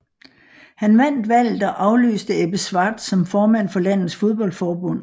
Han vandt valget og afløste Ebbe Schwartz som formand for landets fodboldforbund